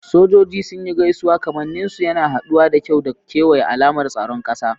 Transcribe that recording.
Sojoji sun yi gaisuwa, kamannin su yana haɗuwa da kyau da kewaye, alamar tsaron ƙasa.